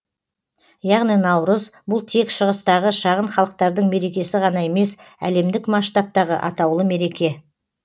яғни наурыз бұл тек шығыстағы шағын халықтардың мерекесі ғана емес әлемдік масштабтағы атаулы мереке